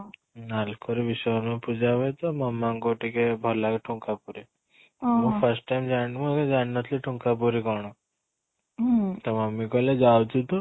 ନାଲକୋ ରେ ବିଶ୍ଵକର୍ମା ପୂଜା ହୁଏ ତୋ ମାମା ଙ୍କୁ ଟିକେ ଭଲ ଲାଗେ ଠୁଙ୍କା ପୁରି ମୁଁ first time ଜାଣିନି ମୁଁ ଜାଣିନଥିଲି ଠୁଙ୍କା ପୁରି କ'ଣ ତ mummy କହିଲେ ଯାଉଛୁ ତୁ